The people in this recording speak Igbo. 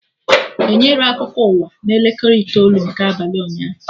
Enyerọ akụkọ ụwa na elekere itoolu nke abalị ụnyaahụ